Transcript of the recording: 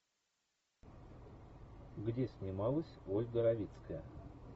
где снималась ольга равицкая